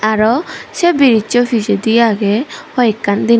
aro se biridge so pijedi agey hoi ekkan.